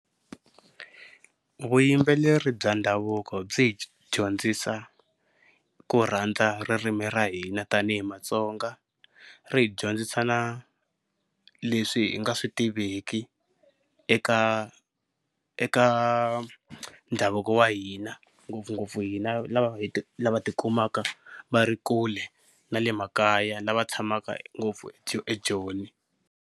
Vuyimbeleri bya ndhavuko byi hi dyondzisa ku rhandza ririmi ra hina tani hi Matsonga, ri hi dyondzisa na leswi hi nga swi tiveki eka eka ndhavuko wa hina ngopfungopfu hina lava lava tikumaka va ri kule na le makaya lava tshamaka ngopfu eJoni.